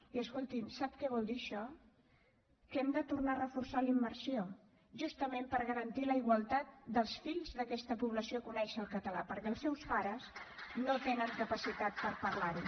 i escolti’m sap què vol dir això que hem de tornar a reforçar la immersió justament per garantir la igualtat dels fills d’aquesta població a conèixer el català perquè els seus pares no tenen capacitat per parlar lo